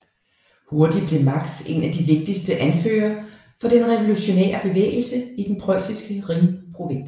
Hurtigt blev Marx en af de vigtigste anfører for den revolutionære bevægelse i den prøjsiske Rhin provins